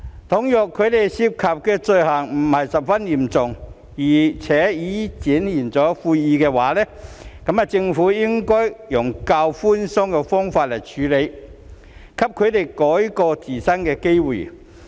倘若他們涉及的罪行並非十分嚴重，並已表現出悔意，政府便應該以較寬鬆的方式處理，給他們改過自新的機會。